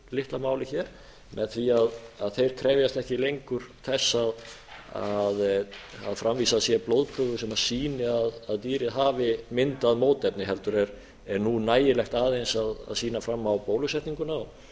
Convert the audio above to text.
litla máli hér með því að þeir krefjast ekki lengur þess að framvísað sé blóðprufu sem sýni að dýrið hafi myndað mótefni heldur er nú nægilegt aðeins að sýna fram á bólusetninguna þeir